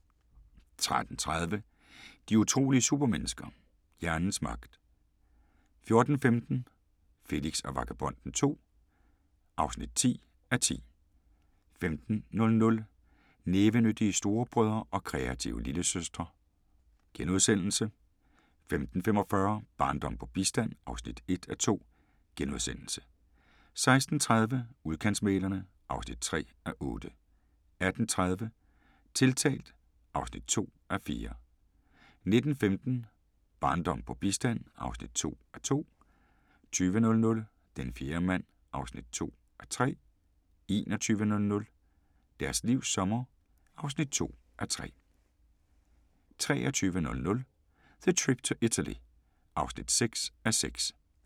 13:30: De utrolige supermennesker – hjernens magt 14:15: Felix og Vagabonden II (10:10) 15:00: Nævenyttige storebrødre og kreative lillesøstre * 15:45: Barndom på bistand (1:2)* 16:30: Udkantsmæglerne (3:8) 18:30: Tiltalt (2:4) 19:15: Barndom på bistand (2:2) 20:00: Den fjerde mand (2:3) 21:00: Deres livs sommer (2:3) 23:00: The Trip to Italy (6:6)